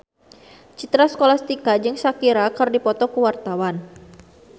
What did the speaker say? Citra Scholastika jeung Shakira keur dipoto ku wartawan